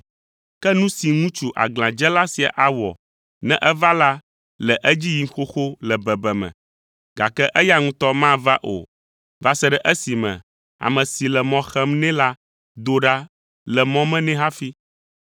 Ke nu si ŋutsu aglãdzela sia awɔ ne eva la le edzi yim xoxo le bebeme, gake eya ŋutɔ mava o va se ɖe esime ame si le mɔ xem nɛ la do ɖa le mɔ me nɛ hafi.